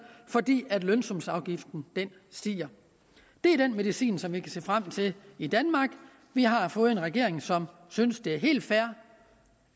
fordi lønsumsafgiften stiger det er den medicin som vi kan se frem til i danmark vi har fået en regering som synes det er helt fair